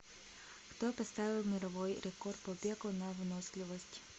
кто поставил мировой рекорд по бегу на выносливость